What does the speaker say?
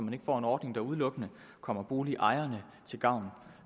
ikke får en ordning der udelukkende kommer boligejerne til gavn